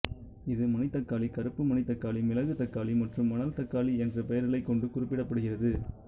இது மணித்தக்காளி கறுப்பு மணித்தக்காளி மிளகு தக்காளி மற்றும் மணல்தக்காளி என்ற பெயர்களைக் கொண்டும் குறிப்பிடப்படுகிறது